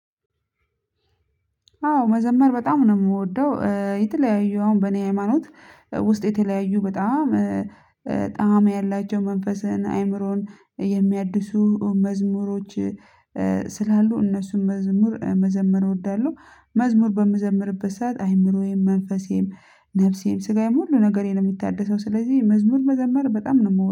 አዎ መዘመር በጣም ነው የምወደው የተለያዩ አሁን በእኔ ሃይማኖት ውስጥ የተለያዩ በጣም ጣዕም ያላቸው መንፈስን አይምሮን የሚያድሱ መዝሙሮች። ስላሉ እነሱም መዝሙር መዘመር እወዳለሁ። መዝሙር በመዘመርበት ሰዓት አይምሮዬም መንፈሴም ነፍሴም ስጋዬም ሁሉ ነገሬን ነው የሚታደሰው። ስለዚህ መዝሙር መዘመር በጣም ነው የምወደው